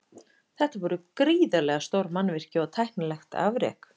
Þetta voru gríðarlega stór mannvirki og tæknilegt afrek.